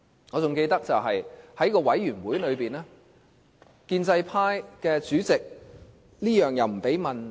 我記得在該調查委員會內，建制派主席甚麼也不准問。